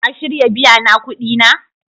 Ka shirya biya na kudi na?